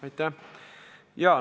Aitäh!